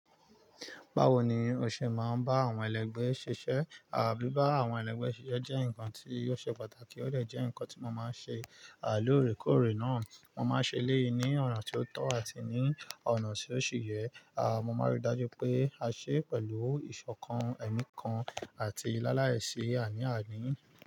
Bawo ni o ṣe máa ń bá àwọn ẹlẹgbẹ́ ṣiṣẹ́, àbí bá àwọn ẹlẹgbẹ́ ṣiṣẹ́ jẹ́ nǹkan tí yóò ṣe pàtàkì, ó dè jẹ́ ǹkan tí mo máa ṣe lóòrèkóòrè náà. Mo máa ṣe e léyín ni ọ̀nà tó tọ́ àti ní ọ̀nà tí ó ṣì yẹ. À, mo máa ríi dájú pé a ṣe pẹ̀lú ìṣọ̀kan, ẹ̀mí kan àti láláẹ̀ẹ́sí àní àní.